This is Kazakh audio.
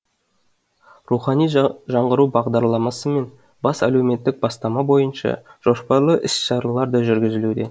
рухани жаңғыру бағдарламасы мен бес әлеуметтік бастама бойынша жоспарлы іс шаралар да жүргізілуде